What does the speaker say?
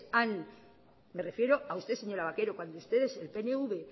me refiero a usted señora vaquero el pnv